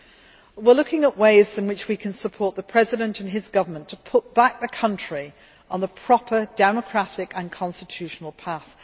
We are also looking at ways in which we can support the President and his government in putting the country back on the proper democratic and constitutional path.